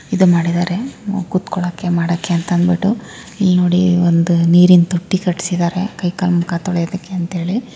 ಇದು ಮಾಡಿದ್ದಾರೆ ಕುತ್ಕೊಳ್ಳೋಕೆ ಮಾಡೋಕೆ ಅಂತ ಅಂದ್ಬಿಟ್ಟು. ಇಲ್ ನೋಡಿ ಒಂದ ನೀರಿಂದ್ ತೊಟ್ಟಿ ಕಟ್ಟಸಿದ್ದಾರೆ. ಕೈ ಕಾಲ್ ಮುಖ ತೊಳಿಯೋದಕ್ಕೆ ಅಂತೇಳಿ.